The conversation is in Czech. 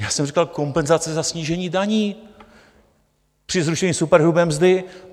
Já jsem říkal kompenzace za snížení daní při zrušení superhrubé mzdy.